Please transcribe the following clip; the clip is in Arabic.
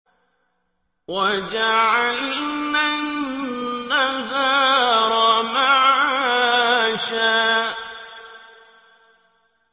وَجَعَلْنَا النَّهَارَ مَعَاشًا